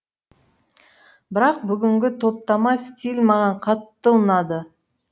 бірақ бүгінгі топтама стиль маған қатты ұнады